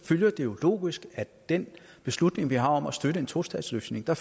følger det jo logisk af den beslutning vi har taget om at støtte en tostatsløsning at